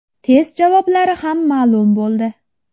Test javoblari ham ma’lum bo‘ldi.